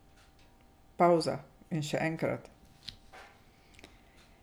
Pavza, in še enkrat.